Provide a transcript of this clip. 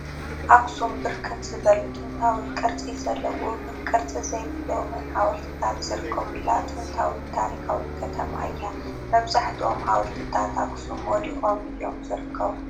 ኣኽሱም ብርክት ዝበሉ ጥንታዊ ቅርፂ ዘለዎምን ቅርፂ ዘይብሎምን ሓወልትታት ዝርከቡላ ጥንታዊ ታሪካዊት ከተማ እያ፡፡ መብዛሕትኦም ሓወልትታት ኣኽሱም ወዲቖም እዮም ዝርከቡ፡፡